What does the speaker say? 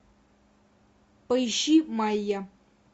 поищи майя